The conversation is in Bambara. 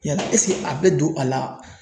Yala esike a be don a la